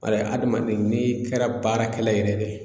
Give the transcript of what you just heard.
Walayi adamaden n'i kɛra baarakɛla yɛrɛ de ye